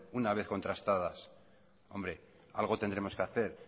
una vez contrastadas hombre algo tendremos que hacer